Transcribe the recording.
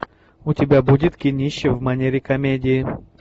у тебя будет кинище в манере комедии